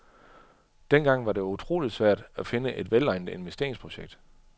Dengang var det utrolig svært at finde et velegnet investeringsprojekt.